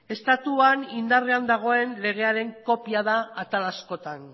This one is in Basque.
estatuan indarrean dagoen legearen kopia da atal askotan